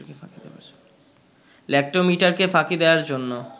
ল্যাক্টোমিটারকে ফাঁকি দেয়ার জন্য